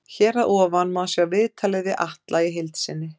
Hér að ofan má sjá viðtalið við Atla í heild sinni.